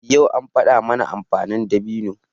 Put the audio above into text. Yau an faɗa mana amfanin dabino.